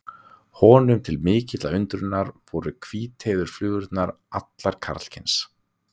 Honum til mikillar undrunar voru hvíteygðu flugurnar allar karlkyns.